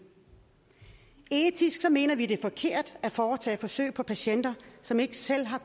etisk mener vi at det er forkert at foretage forsøg på patienter som ikke selv har